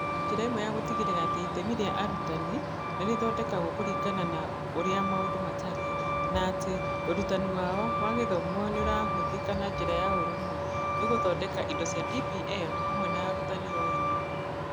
Njĩra ĩmwe ya gũtigĩrĩra atĩ itemi rĩa arutani nĩ rĩthondekagwo kũringana na ũrĩa maũndũ matariĩ, na atĩ ũrutani wao wa gĩthomo nĩ ũrahũthĩka na njĩra ya ũrũmwe, nĩ gũthondeka indo cia DPL hamwe na arutani o ene.